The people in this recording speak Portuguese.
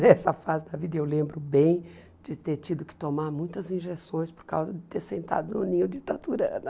Nessa fase da vida, eu lembro bem de ter tido que tomar muitas injeções por causa de ter sentado no ninho de taturana.